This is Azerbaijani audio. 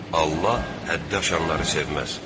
Allah həddi aşanları sevməz.